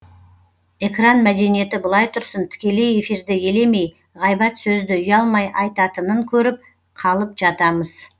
экран мәдениеті былай тұрсын тікелей эфирді елемей ғайбат сөзді ұялмай айтатынын көріп қалып жатамыз